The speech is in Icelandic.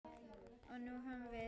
Og nú höfum við